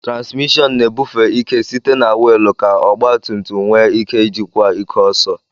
TránsmiShọọnu na-ebufe ike site na wiil ka ọgba tum tum nwee ike ijikwa ike ọsọ